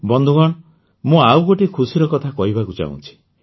ବନ୍ଧୁଗଣ ମୁଁ ଆଉ ଗୋଟିଏ ଖୁସିର କଥା କହିବାକୁ ଚାହୁଁଛି